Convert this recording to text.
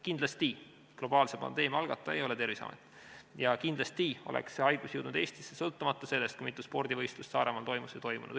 Kindlasti ei ole globaalse pandeemia algataja Terviseamet ja kindlasti oleks see haigus jõudnud Eestisse sõltumata sellest, kui mitu spordivõistlust Saaremaal toimus või ei toimunud.